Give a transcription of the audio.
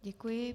Děkuji.